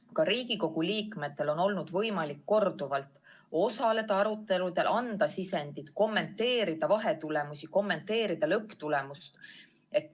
Ka Riigikogu liikmetel on korduvalt olnud võimalik osaleda aruteludel, anda sisendit, kommenteerida vahetulemusi, kommenteerida lõpptulemust.